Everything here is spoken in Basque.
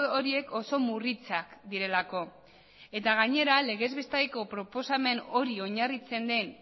horiek oso murritzak direlako eta gainera legez besteko proposamen hori oinarritzen den